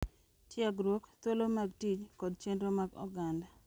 tiegruok, thuolo mag tich, kod chenro mag oganda.